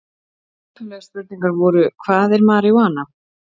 Upphaflegar spurningar voru: Hvað er marijúana?